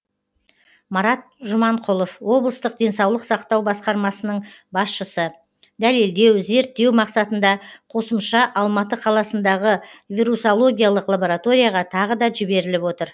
марат жұманқұлов облыстық денсаулық сақтау басқармасының басшысы дәлелдеу зерттеу мақсатында қосымша алматы қаласындағы вирусологиялық лабораторияға тағы да жіберіліп отыр